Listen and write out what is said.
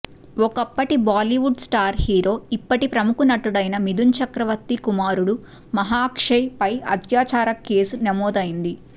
ఒకప్పటి Bollywood star hero ఇప్పటి ప్రముఖ నటుడైన మిథున్ చక్రవర్తి కుమారుడు మహాక్షయ్ పై అత్యాచారం కేసు నమోదైంది